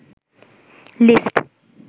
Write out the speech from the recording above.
list